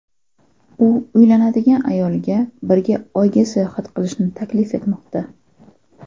U uylanadigan ayolga birga Oyga sayohat qilishni taklif etmoqda.